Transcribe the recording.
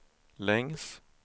längs